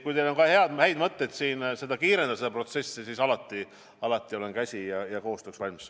Kui teil on häid mõtteid, kuidas seda protsessi kiirendada, siis alati olen käsi ja koostööks valmis.